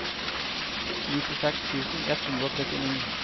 nittiseks tusen ett hundre og trettini